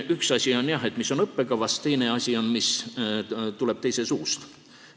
Üks asi on, jah, see, mis on õppekavas, teine asi on see, mis tuleb teise inimese suust.